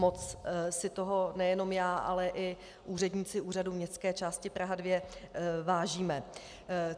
Moc si toho nejenom já, ale i úředníci Úřadu městské části Praha 2 vážíme.